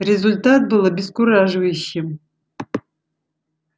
результат был обескураживающим